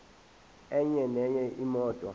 enye nenye imoto